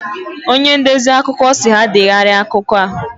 Onye ndezi akụkọ si ha degharia akụkọ a